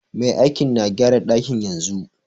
Mai aikin na gyara dakin yanzu.